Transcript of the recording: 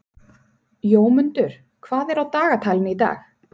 Jómundur, hvað er á dagatalinu í dag?